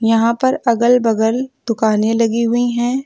यहां पर अगल बगल दुकाने लगी हुई हैं।